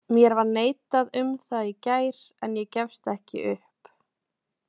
Mér var neitað um það í gær en ég gefst ekki upp.